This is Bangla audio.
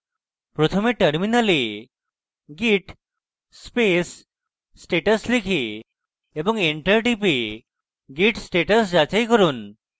প্রথমে terminal git space status লিখে এবং enter টিপে git status যাচাই করুন